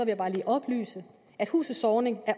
jeg bare lige oplyse at huset zornig